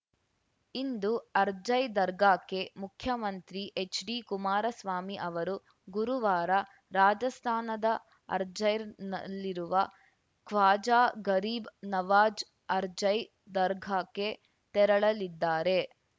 ಇಂದು ಅರ್ಜಾಯ್ ದರ್ಗಾಕ್ಕೆ ಮುಖ್ಯಮಂತ್ರಿ ಎಚ್‌ಡಿಕುಮಾರಸ್ವಾಮಿ ಅವರು ಗುರುವಾರ ರಾಜಸ್ಥಾನದ ಅರ್ಜಾಯ್ರ್ ನಲ್ಲಿರುವ ಖ್ವಾಜಾ ಗರೀಬ್‌ ನವಾಜ್‌ ಅರ್ಜಾಯ್ ದರ್ಗಾಕ್ಕೆ ತೆರಳಲಿದ್ದಾರೆ